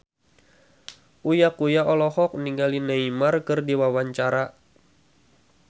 Uya Kuya olohok ningali Neymar keur diwawancara